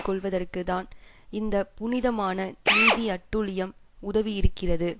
கொள்வதற்கு தான் இந்த புனிதமான நீதி அட்டூழியம் உதவி இருக்கிறது